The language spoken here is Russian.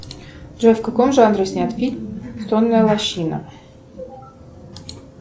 джой в каком жанре снят фильм сонная лощина